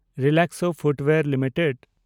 Relaxo Footwears limited